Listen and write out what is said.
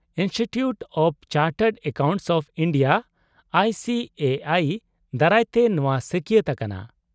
-Institute of chartered accountants of India ( I C A I) ᱫᱟᱨᱟᱭ ᱛᱮ ᱱᱚᱶᱟ ᱥᱟᱹᱠᱭᱟᱹᱛ ᱟᱠᱟᱱᱟ ᱾